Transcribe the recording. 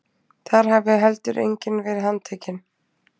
Þar hafi heldur enginn verið handtekinn